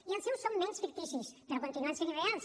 i els seus són menys ficticis però continuen sent irreals